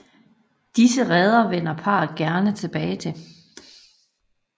Disse reder vender parret gerne tilbage til